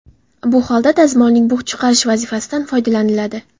Bu holda dazmolning bug‘ chiqarish vazifasidan foydalaniladi.